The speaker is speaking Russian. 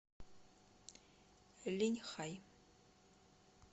линьхай